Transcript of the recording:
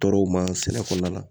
Tɔɔrɔw ma sɛnɛ kɔnɔna la